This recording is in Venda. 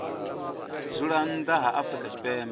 dzula nnḓa ha afrika tshipembe